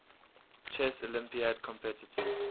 chess olympiad competitors